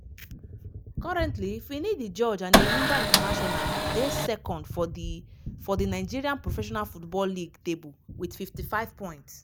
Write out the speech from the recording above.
currently finidi george and enyimba international dey second for di for di nigeria professional football league table wit 55 points.